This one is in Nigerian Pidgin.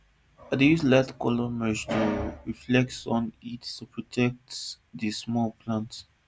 i dey use lightcolour mulch to reflect sun heat and protect the small plants